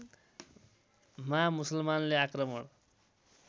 मा मुसलमानले आक्रमण